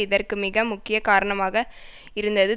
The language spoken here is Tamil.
இதற்கு மிக முக்கிய காரணமாக இருந்தது